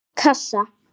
einn kassa?